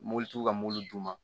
Mobilitigiw ka mobili d'u ma